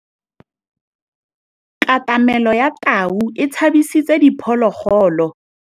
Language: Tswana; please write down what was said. Katamêlô ya tau e tshabisitse diphôlôgôlô.